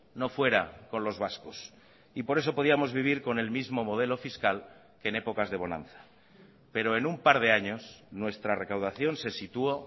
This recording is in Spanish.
no fuera con los vascos y por eso podíamos vivir con el mismo modelo fiscal que en épocas de bonanza pero en un par de años nuestra recaudación se situó